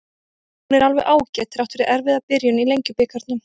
Hún er alveg ágæt, þrátt fyrir erfiða byrjun í Lengjubikarnum.